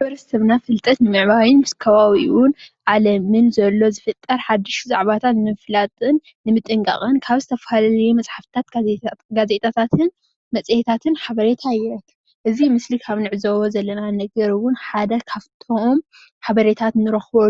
ሕብረተሰብና ፍልጠት ንምዕባይን ኣብ ዓለም ዘሎ ነገራት ።፣ሓቤረታ ንምርኻብ፣ ካብ ዝጥቀመሎም ሓደ ዞኾነ መፅሓፎትን ጋዜጣታትን ኦዮም። ንምጥንቃቅን ሓበሬቴ